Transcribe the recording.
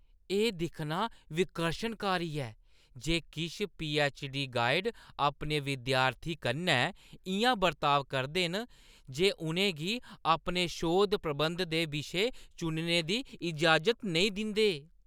एह् दिक्खना विकर्शनकारी ऐ जे किश पीऐच्च.डी. गाइड अपने विद्यार्थियें कन्नै इʼयां बरताव करदे न जे उʼनें गी अपने शोध-प्रबंध दे विशे चुनने दी इजाज़त नेईं दिंदे ।